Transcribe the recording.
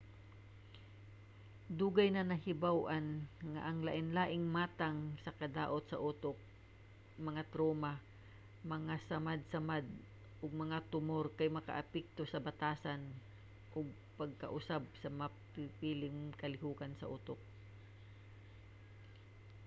dugay na nga nahibaw-an nga ang lain-laing matang sa kadaot sa utok mga truma mga samadsamad ug mga tumor kay makaapekto sa batasan ug makapausab sa pipilang kalihokan sa utok